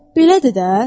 Belədir də.